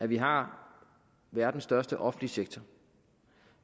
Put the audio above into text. vi har verdens største offentlige sektor